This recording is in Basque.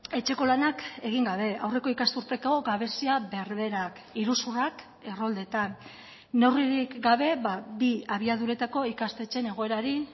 etxeko lanak egin gabe aurreko ikasturteko gabezia berberak iruzurrak erroldetan neurririk gabe bi abiaduretako ikastetxeen egoerari